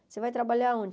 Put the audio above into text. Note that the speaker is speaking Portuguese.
Você vai trabalhar onde?